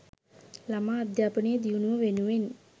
ළමා අධ්‍යාපනයේ දියුණුව වෙනුවෙන්